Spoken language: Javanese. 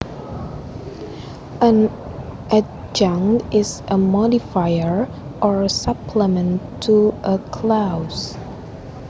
An adjunct is a modifier or supplement to a clause